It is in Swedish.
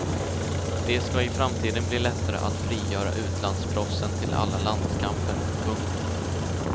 Det ska i framtiden bli lättare att frigöra utlandsproffsen till alla landskamper. punkt